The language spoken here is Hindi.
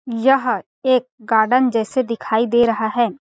यह एक गार्डन जैसे दिखाई दे रहा है।